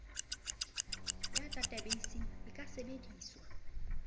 ya databeise e ka sebediswa